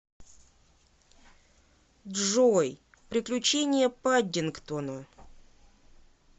джой приключения паддингтона